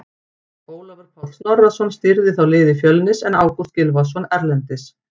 Ólafur Páll Snorrason stýrði þá liði Fjölnis en Ágúst Gylfason er erlendis.